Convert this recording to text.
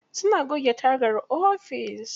Suna goge tagar ofis.